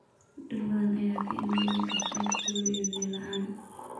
Dhir badan ayaa ka engegay cadceed kulul iyo biyo la'aan.